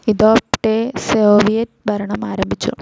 ഇതോപ്പ്ടെ Soviet ഭരണം ആരംഭിച്ചു.